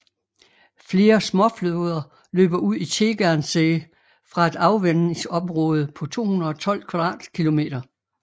Flere småfloder løber ud i Tegernsee fra et afvandingsområde på 212 km²